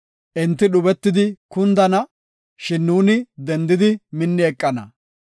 Enti dhubetidi kundana; shin nuuni dendidi minni eqana.